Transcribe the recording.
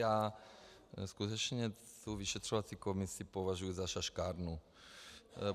Já skutečně tu vyšetřovací komisi považuju za šaškárnu.